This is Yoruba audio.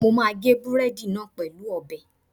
Mo máa gé búrẹ́dì náà pẹ̀lú ọ̀bẹ